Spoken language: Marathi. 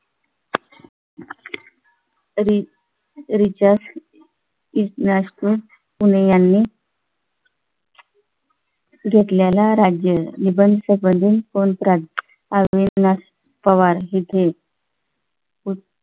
तरी रिचार्जे इसनास्क पुणे यांनी घेतलेले राज्य निबंध संबंध कोण प्राण अविनाश पवार येथे होत.